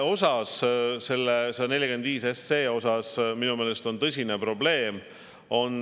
Selle 145 SE puhul on minu meelest tõsine probleem.